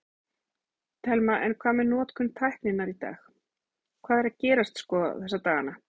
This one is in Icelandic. Telma: En hvað með notkun tækninnar í dag, hvað er að gerast sko þessa dagana?